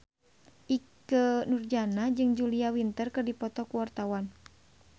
Ikke Nurjanah jeung Julia Winter keur dipoto ku wartawan